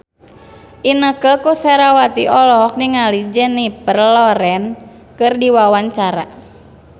Inneke Koesherawati olohok ningali Jennifer Lawrence keur diwawancara